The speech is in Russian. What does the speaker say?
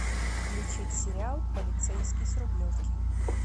включить сериал полицейский с рублевки